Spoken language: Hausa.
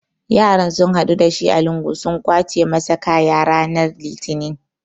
Yaron sun haɗu da shi a lungu sun kwace masa kaya rana Litinin.